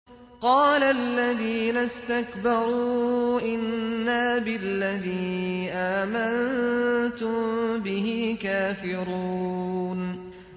قَالَ الَّذِينَ اسْتَكْبَرُوا إِنَّا بِالَّذِي آمَنتُم بِهِ كَافِرُونَ